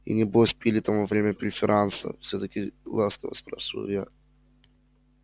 и небось пили там во время преферанса все так же ласково спрашиваю я